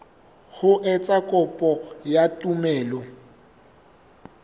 ho etsa kopo ya tumello